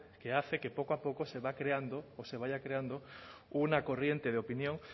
que hace que poco a poco se vaya creando una corriente de opinión